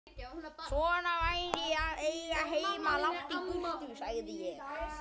Svona væri að eiga heima langt í burtu, sagði ég.